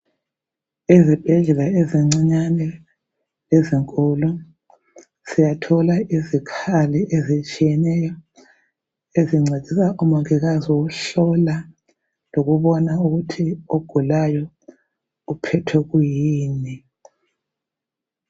Ezibhedlela ezincinyane lezinkulu siyathola izikhali ezitshiyeneyo ezincedisa umongikazi ukuhlola lokubona ukuthi ogulayo uphethwe kuyini.